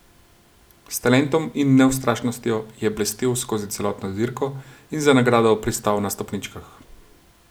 S talentom in neustrašnostjo je blestel skozi celotno dirko in za nagrado pristal na stopničkah.